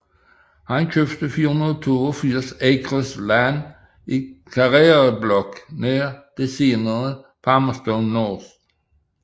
Han købte 482 acres land i Karere Block nær det senere Palmerston North